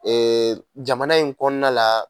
Ɛɛ jamana in kɔnɔna la